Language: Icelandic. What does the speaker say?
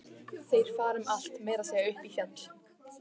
Þeir fara um allt, meira að segja upp í fjall.